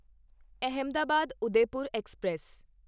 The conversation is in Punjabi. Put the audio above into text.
ਅਹਿਮਦਾਬਾਦ ਉਦੈਪੁਰ ਐਕਸਪ੍ਰੈਸ